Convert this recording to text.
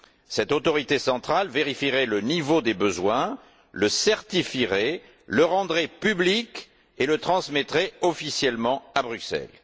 Cette autorité centrale vérifierait le niveau des besoins, le certifierait, le rendrait public et le transmettrait officiellement à Bruxelles.